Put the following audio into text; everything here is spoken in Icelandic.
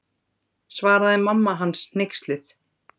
Svaraði mamma hans hneyksluð.